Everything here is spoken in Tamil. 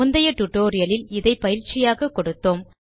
முந்தைய டியூட்டோரியல் இல் இதை பயிற்சியாக கொடுத்தோம்